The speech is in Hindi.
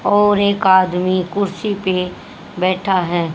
और एक आदमी कुर्सी पे बैठा है।